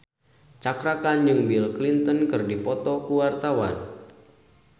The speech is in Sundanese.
Cakra Khan jeung Bill Clinton keur dipoto ku wartawan